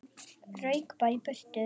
Rauk bara í burtu.